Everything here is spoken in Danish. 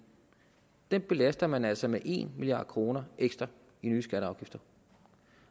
dem belaster man altså med en milliard kroner ekstra i nye skatter